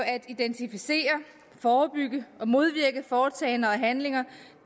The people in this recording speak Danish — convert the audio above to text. at identificere forebygge og modvirke foretagender og handlinger